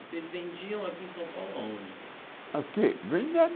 E vocês vendiam aqui em São Paulo, aonde? Aqui